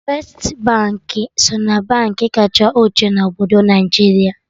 Firstị Baankị so na Baankị kacha ochie na obodo Naijiria